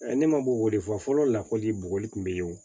Ne ma bɔ weele fɔ fɔlɔ la kɔli bɔgɔli kun be yen wo